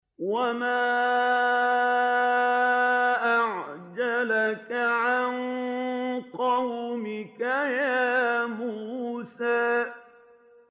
۞ وَمَا أَعْجَلَكَ عَن قَوْمِكَ يَا مُوسَىٰ